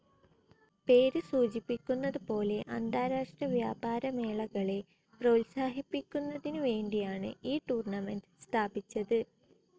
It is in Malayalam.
പേര് സൂചിപ്പിക്കുന്നത് പോലെ അന്താരാഷ്ട്ര വ്യാപാരമേളകളെ പ്രോത്സാഹിപ്പിക്കന്നതിനു വേണ്ടിയാണ് ഈ ടൂർണമെന്റ്‌ സ്ഥാപിച്ചത്.